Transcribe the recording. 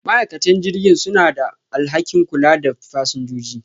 ma'aikatan jirgin suna da alhakin kulawa da fasinjoji.